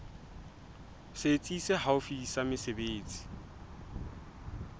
setsi se haufi sa mesebetsi